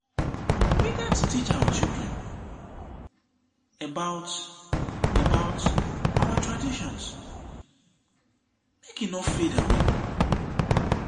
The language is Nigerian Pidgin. we gats teach our children about about our traditions make e no fade away.